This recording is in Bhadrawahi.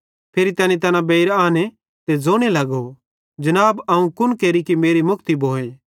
फिरी तैनी तैना बेइर आने ते ज़ोने लगो जनाब अवं कुन केरि कि मेरी मुक्ति भोए